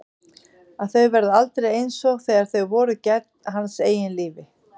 Að þau verði aldrei einsog þegar þau voru gædd hans eigin lífi.